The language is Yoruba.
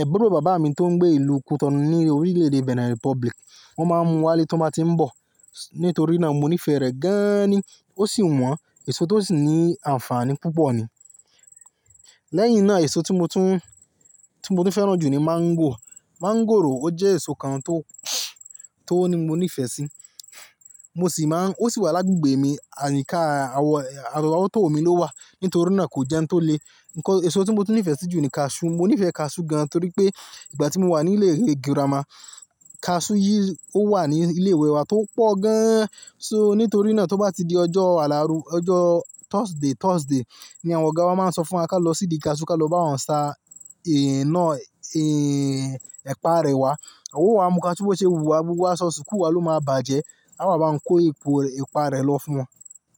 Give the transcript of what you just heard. àbúrò bàbá mi tó ń gbé ìlú Cotonou ní orílẹ̀-èdè Benin Republic, wọ́n máa ń mú wálé tó báa tí ń bọ̀. Nítorí náà mo nífẹ̀ẹ́ rẹ̀ gaaani, ó sì wọ́n, èso tó sì ní àǹfààní púpọ̀ ni. Lẹ́yìn náà èso tí mo tún, tí mo tún fẹ́ràn jù ni mango. Mangoro ó jẹ́ èso kan tó, tó ní mo nífẹ̀ẹ́ sí. Mo sì máa ń, ó sì wà lágùgbè mi, àyíká awọ, árọ́wọ́tó mi ló wà. Nítorí náà kò jẹ́un tó le. Nìkan èso tí mo ti nífẹ̀ẹ́ sí jù ni cashew. Mo nífẹ̀ẹ́ cashew gan torí pé ìgbà tí mo wà ní ilé ìwé girama, cashew yìí ó wà ní ilé ìwé wa tó pọ̀ gan. So nítorí náà tó bá di ọjọ́ Alárùn, ọjọ́ Thursday, Thursday ni àwọn ọ̀gá wa máa ń sọ fún wa ká lọ síbi cashew ká lọ bá wọn sa, ẹ́ náà, ẹ́ ẹ̀pa rẹ̀ wá. A ó wá mú ká tí ó bá ṣe wúwa, gbogbo aṣọ sukuu wa ló máa bàjẹ́. A wáa bá wọn kó ipò ẹ̀pa rẹ̀ lọ fún wọn.